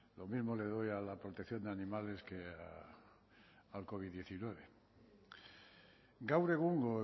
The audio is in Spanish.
lo mismo le doy a la protección de animales que al covid hemeretzi gaur egungo